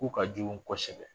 Ko ka jugu kosɛbɛ